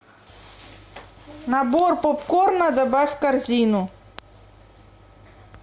набор попкорна добавь в корзину